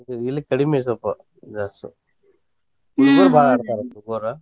ಇಲ್ಲಿ ಕಡ್ಮಿ ಸ್ವಲ್ಪ ಹುಡಗುರ್ ಬಾಳ್ ಆಡ್ತಾರೆ.